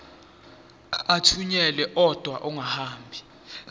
athunyelwa odwa angahambi